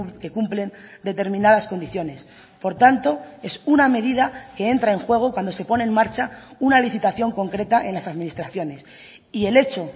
que cumplen determinadas condiciones por tanto es una medida que entra en juego cuando se pone en marcha una licitación concreta en las administraciones y el hecho